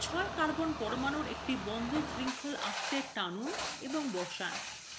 ছয় carbon পরমাণুর একটি বন্ধ শৃঙ্খল করতে টানুন এবং বসান